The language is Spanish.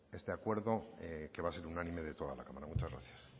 este acuerdo que va a ser unánime de toda la cámara muchas gracias